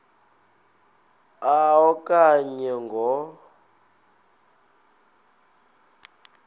a okanye ngo